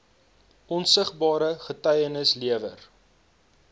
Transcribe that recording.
opsienbare getuienis gelewer